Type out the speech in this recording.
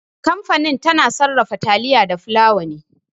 Kamfani tana sarrafa taliya da fulawa ne.